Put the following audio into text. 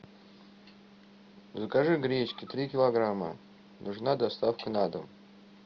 закажи гречки три килограмма нужна доставка на дом